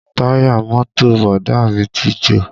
Táyà mọ́tò Bọ̀dá à mí ti jò